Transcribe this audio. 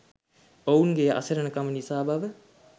ඔවුන්ගේ අසරණකම නිසා බව